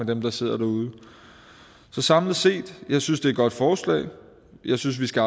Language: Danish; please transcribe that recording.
dem der sidder derude så samlet set jeg synes det godt forslag jeg synes vi skal